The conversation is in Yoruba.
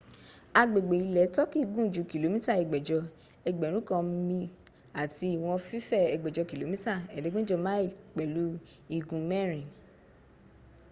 agbègbè ilẹ̀ turkey gùn ju kìlómítà ẹgbẹ̀jọ ẹgbẹ̀rún kan mi àti ìwọ̀n fífẹ̀ ẹgbẹ̀jọ kìlómítà ẹ̀ẹ́dẹ̀gbẹ̀ta mi pẹ̀lú igun mẹ́rin